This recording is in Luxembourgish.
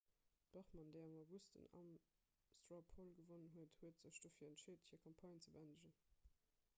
d'bachmann déi am august den ames straw poll gewonn huet huet sech dofir entscheet hir campagne ze bëendegen